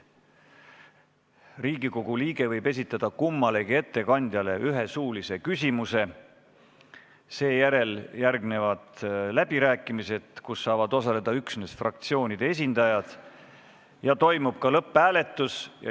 Riigikogu liige võib kummalegi ettekandjale esitada ühe suulise küsimuse, seejärel järgnevad läbirääkimised, kus saavad osaleda üksnes fraktsioonide esindajad, ja toimub ka lõpphääletus.